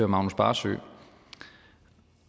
magnus barsøe